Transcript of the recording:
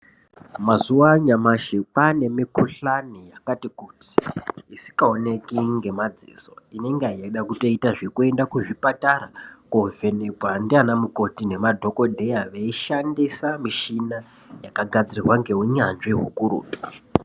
Mazuva anyasha kwane mi kuhlani yakati kuti isinga oneke ngema dziso inenga yeida kutoenda ku zvipatara ko vhenekwa ndiana mikoti ne madhokoteya vei shandisa mishina yaka gadzirwa ne unyanzvi ukurutu.